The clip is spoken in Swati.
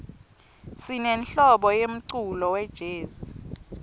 sinenhlobo yemculo wejezi